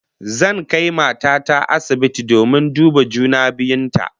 Zan kai mata ta asibiti domin duba juna biyun ta